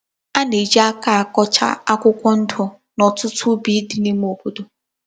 A na-eji aka akọcha akwụkwọ ndụ, n’ọ̀tụtụ úbì dị n’ime obodo.